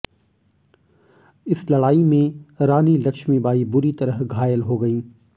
इस लड़ाई में रानी लक्ष्मी बाई बुरी तरह घायल हो गईं